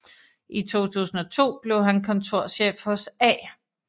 I 2002 blev han kontorchef hos A